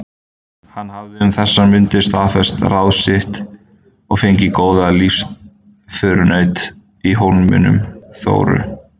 Hann hafði um þessar mundir staðfest ráð sitt og fengið góðan lífsförunaut í Hólminum, Þóru